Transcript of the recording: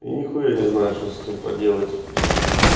я нехуя не знаю что с этим поделать